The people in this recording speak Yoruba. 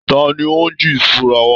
Tani ó ń jí ìṣura wa?